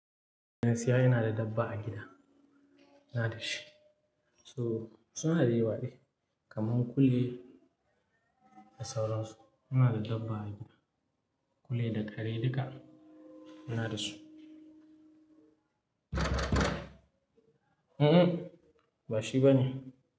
Gaskiya ina da dabba a gida, ina da shi. So suna da yawaɗai kamar kule da sauransu. Yana da dabba a gida, kule da kare duka yana da su. Mm ba shi ba ne.